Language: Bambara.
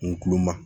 N kuloma